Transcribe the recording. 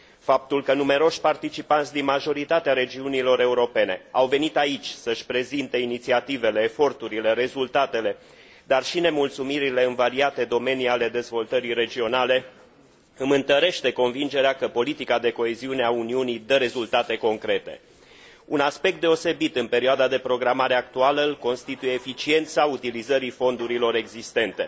Faptul că numeroși participanți, din majoritatea regiunilor europene, au venit aici să și prezinte inițiativele, eforturile, rezultatele, dar și nemulțumirile în variate domenii ale dezvoltării regionale, îmi întărește convingerea că politica de coeziune a Uniunii dă rezultate concrete Un aspect deosebit în perioada de programare actuală îl constituie eficiența utilizării fondurilor existente.